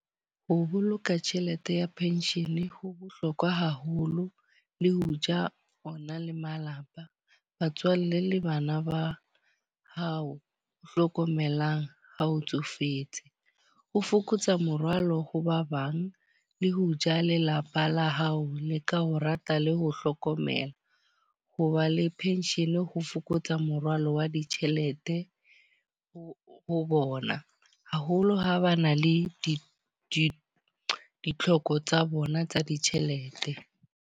Ho boloka tjhelete ya pension ho bohlokwa haholo. Le ho ja o na le malapa, batswalle le bana ba hao o hlokomelang ha o tsofetse. Ho fokotsa morwalo ho ba bang, le ho ja lelapa la hao le ka ho rata le ho hlokomela. Ho ba le pension ho fokotsa morwalo wa ditjhelete ho ho bona. Haholo ha ba na le di di ditlhoko tsa bona tsa ditjhelete.